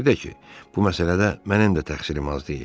Bir də ki, bu məsələdə mənim də təqsirim az deyil.